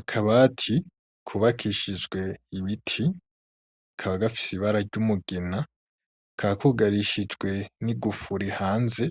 Akabati kubakishijwe ibiti kakaba gafise ibara ry'umugina, kakaba kugarishijwe n'igufuri hanze